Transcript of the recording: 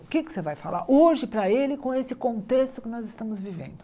O que você vai falar hoje para ele com esse contexto que nós estamos vivendo?